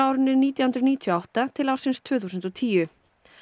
árinu nítján hundruð níutíu og átta til ársins tvö þúsund og tíu